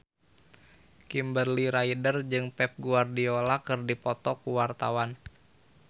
Kimberly Ryder jeung Pep Guardiola keur dipoto ku wartawan